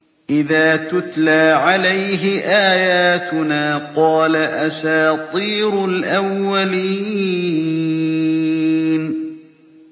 إِذَا تُتْلَىٰ عَلَيْهِ آيَاتُنَا قَالَ أَسَاطِيرُ الْأَوَّلِينَ